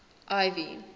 ivy